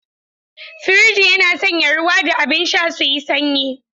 Firji yana sanya ruwa da abin sha suyi sanyi.